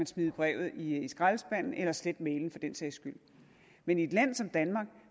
smide brevet i skraldespanden eller slette mailen for den sags skyld men i et land som danmark